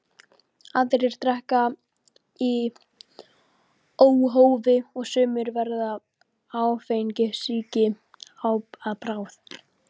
Aðrir drekka í óhófi og sumir verða áfengissýki að bráð.